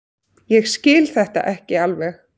Ég skil þetta ekki alveg.